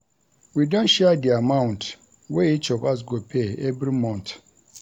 We don share di amount wey each of us go pay every month.